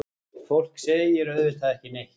Fólk segir auðvitað ekki neitt.